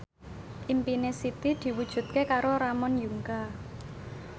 impine Siti diwujudke karo Ramon Yungka